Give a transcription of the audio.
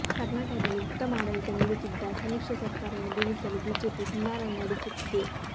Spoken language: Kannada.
ಕರ್ನಾಟಕದಲ್ಲಿ ಉತ್ತಮ ಆಡಳಿತ ನೀಡುತ್ತಿದ್ದ ಸಮ್ಮಿಶ್ರ ಸರ್ಕಾರವನ್ನು ಬೀಳಿಸಲು ಬಿಜೆಪಿ ಹುನ್ನಾರ ನಡೆಸುತ್ತಿದೆ